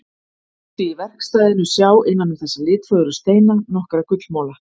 Mátti í verkstæðinu sjá innan um þessa litfögru steina nokkra gullmola.